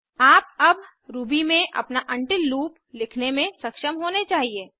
आप अब रूबी में अपना उंटिल लूप लिखने में सक्षम होने चाहिए